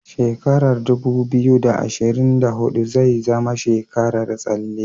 Shekara dubu biyu, da ashirin da hudu zai zama tsekarar tsalle.